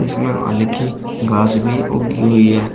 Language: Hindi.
इसमें हल्की घास भी उगी हुई है।